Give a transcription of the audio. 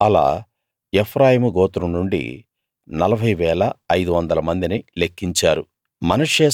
అలా ఎఫ్రాయిము గోత్రం నుండి 40 500 మందిని లెక్కించారు